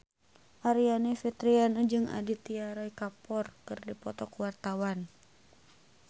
Aryani Fitriana jeung Aditya Roy Kapoor keur dipoto ku wartawan